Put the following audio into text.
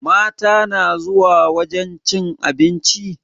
Mata na zuwa wajen cin abinci?